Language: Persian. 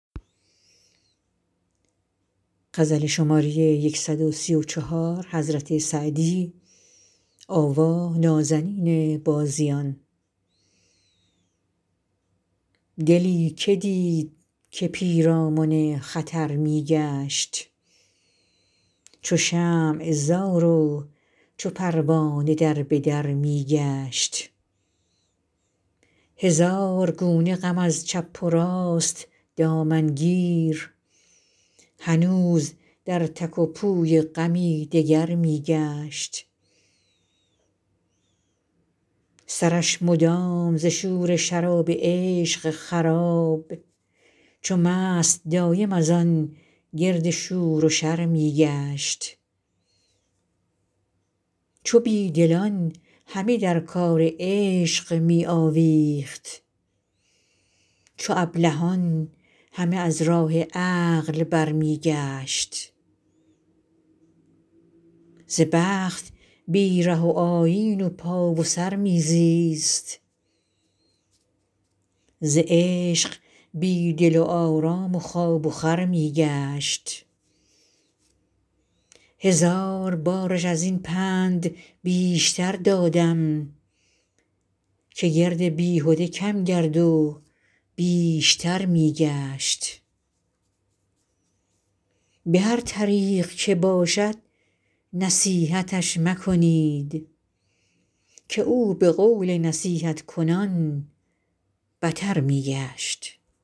دلی که دید که پیرامن خطر می گشت چو شمع زار و چو پروانه در به در می گشت هزار گونه غم از چپ و راست دامن گیر هنوز در تک و پوی غمی دگر می گشت سرش مدام ز شور شراب عشق خراب چو مست دایم از آن گرد شور و شر می گشت چو بی دلان همه در کار عشق می آویخت چو ابلهان همه از راه عقل برمی گشت ز بخت بی ره و آیین و پا و سر می زیست ز عشق بی دل و آرام و خواب و خور می گشت هزار بارش از این پند بیشتر دادم که گرد بیهده کم گرد و بیشتر می گشت به هر طریق که باشد نصیحتش مکنید که او به قول نصیحت کنان بتر می گشت